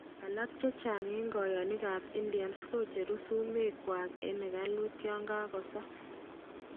Alak eng koyonik kap indians kocheru sumek kwak eng ekalut yan kakosa.